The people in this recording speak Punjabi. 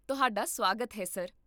ਤੁਹਾਡਾ ਸੁਆਗਤ ਹੈ, ਸਰ